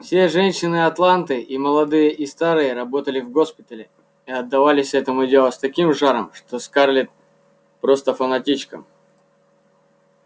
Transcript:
все женщины атланты и молодые и старые работали в госпиталях и отдавались этому делу с таким жаром что казались скарлетт просто фанатичками